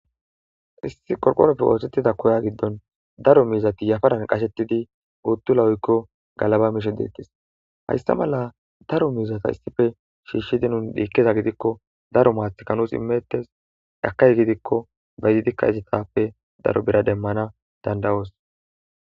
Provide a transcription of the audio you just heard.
Issi qorqoroppe oosettida koya giddon daro mizati yafaran qashettidi uuttula oykko galaba mishe deettis haysta mala daro mizata issife shiishshidi nun dhiikkeza gidikko daro maathikanus imettes akay gidikko ba izidikka izitappe daro bira demmana dandawoos